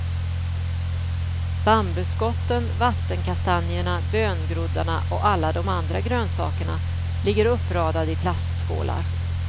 Bambuskotten, vattenkastanjerna, böngroddarna och alla de andra grönsakerna ligger uppradade i plastskålar.